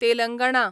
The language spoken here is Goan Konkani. तेलंगणा